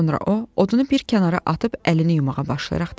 Sonra o, odunu bir kənara atıb əlini yumağa başlayaraq dedi: